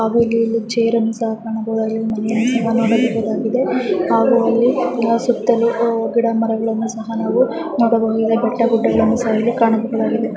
ಹಾಗು ಇಲ್ಲಿ ಚೇರನ್ನು ಸಹ ಕಾಣಬಹುದಾಗಿದೆ ಒಂದು ಚಿಕ್ಕ ದಾದಾ ಮನೆಯನ್ನು ಸಹ ನೋಡಬಹುದಾಗಿದೆ ಹಾಗು ಅಲ್ಲಿ ಸುಟಲ್ಲು ಗಿಡ ಮರಗಳನ್ನು ಸಹ ಕಾಣಬಹುದಾಗಿದೆ ಬೆಟ್ಟ ಗುಡ್ಡಗಳನ್ನು ಸಹ ಕಾಣಬಹುದಾಗಿದೆ .